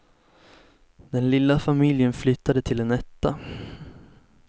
Den lilla familjen flyttade till en etta.